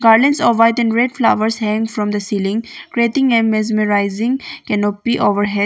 Garlands of white and red flowers hangs from the ceiling creating a mesmerizing canopy overhead.